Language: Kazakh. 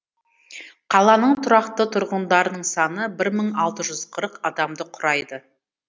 қаланың тұрақты тұрғындарының саны бір мың алты жүз қырық адамды құрайды